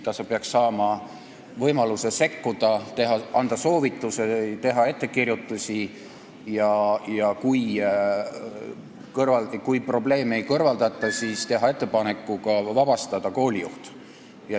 Ta peaks saama võimaluse sekkuda, anda soovitusi ja teha ettekirjutusi ning kui probleemi ei kõrvaldata, siis peab tal olema võimalik teha ettepanek vabastada kooli juht.